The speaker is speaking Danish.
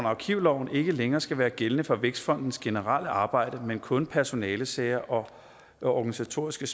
arkivloven ikke længere skal være gældende for vækstfondens generelle arbejde mens kun personalesager og organisatoriske